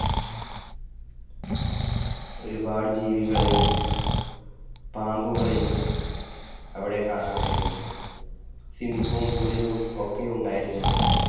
ഒരുപാട് ജീവികളെയും പാമ്പുകളെയും അവിടെ കാണാമായിരുന്നു. സിംഹവും പുലിയും ഒക്കെ ഉണ്ടായിരുന്നു അവിടെ